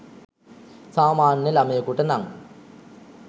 සාමාන්‍ය ළමයෙකුට නං